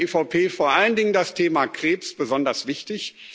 Und da ist für die EVP vor allen Dingen das Thema Krebs besonders wichtig.